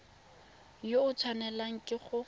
yo o tshwanelang ke go